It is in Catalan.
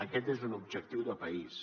aquest és un objectiu de país